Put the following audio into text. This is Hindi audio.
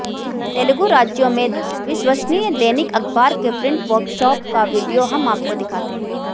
तेलुगू राज्यों में विश्वसनीय दैनिक अखबार के प्रिंट वर्कशॉप का वीडियो हम आपको दिखाते हैं